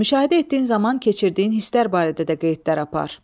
Müşahidə etdiyin zaman keçirdiyin hisslər barədə də qeydlər apar.